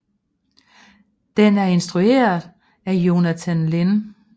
Den er instrueret af Jonathan Lynn